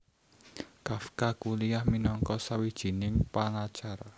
Kafka kuliah minangka sawijining pangacara